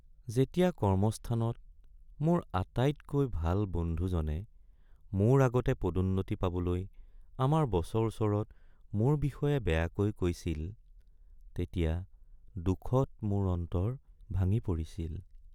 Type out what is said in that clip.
যেতিয়া কৰ্মস্থানত মোৰ আটাইতকৈ ভাল বন্ধুজনে মোৰ আগতে পদোন্নতি পাবলৈ আমাৰ বছৰ ওচৰত মোৰ বিষয়ে বেয়াকৈ কৈছিল তেতিয়া দুখত মোৰ অন্তৰ ভাঙি পৰিছিল।